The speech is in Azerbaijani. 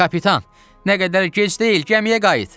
Kapitan, nə qədər gec deyil, gəmiyə qayıt.